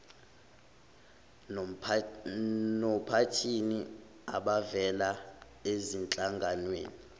nophathini abavela ezinhlanganweni